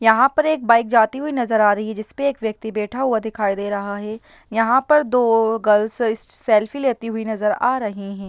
यहाँ पर एक बाइक जाती हुई नज़र आ रही है जिस पे एक व्यक्ति बैठा हुआ दिखाई दे रहा है यहाँ पर दो गर्ल्स स सेल्फी लेती हुई नज़र आ रही हैं।